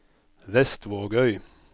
Vestvågøy